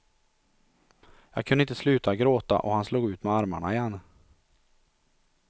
Jag kunde inte sluta gråta och han slog ut med armarna igen.